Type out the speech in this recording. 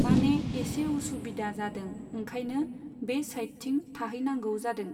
माने एसे उसुबिदा जादों ओंखायनो बे साइडथिं थाहैनांगौ जादों।